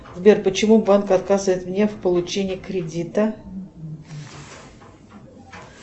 сбер почему банк отказывает мне в получении кредита